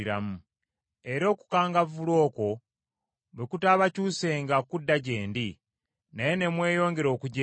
“Era okukangavvula okwo bwe kutaabakyusenga kudda gye ndi, naye ne mweyongera okujeema,